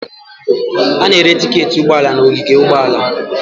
A na-ere tiketi ụgbọ ala n'ogige ụgbọala.